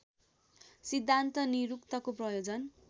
सिद्धान्त निरुक्तको प्रयोजन